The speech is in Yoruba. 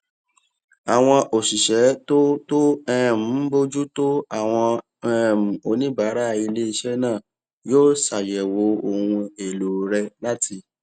àwọn òṣìṣẹ tó tó um ń bójú tó àwọn um oníbàárà iléiṣẹ náà yóò ṣàyèwò ohun èlò rẹ láti